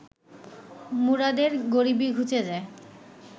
মুরাদের গরিবি ঘুচে যায়